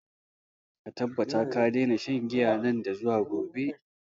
Ka tabbata ka daina shan giya nan da zuwa gobe!